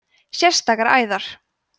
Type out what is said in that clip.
sérstakar æðar